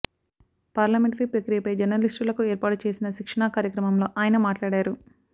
parliamentary ప్రక్రియపై జర్నలిస్టులకు ఏర్పాటు చేసిన శిక్షణా కార్యక్రమంలో ఆయన మాట్లాడారు